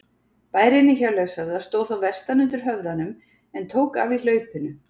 Bærinn í Hjörleifshöfða stóð þá vestan undir höfðanum en tók af í hlaupinu.